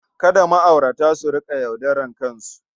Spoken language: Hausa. Kada ma'aurata su riƙa yaudarar kansu.